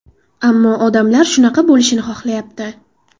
Ammo odamlar shunaqa bo‘lishini xohlayapti.